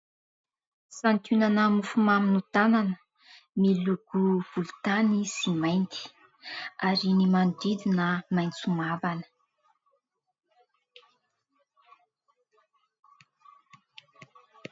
Santionana mofomamy no tanana, miloko volontany sy mainty ary ny manodidina maitso mavana.